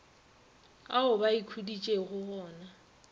ao ba ikhuditšego go na